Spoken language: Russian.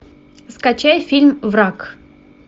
скачай фильм враг